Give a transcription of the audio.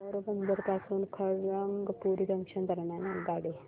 पोरबंदर पासून खरगपूर जंक्शन दरम्यान आगगाडी